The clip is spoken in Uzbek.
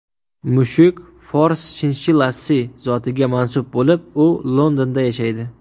Mushuk Fors shinshillasi zotiga mansub bo‘lib, u Londonda yashaydi.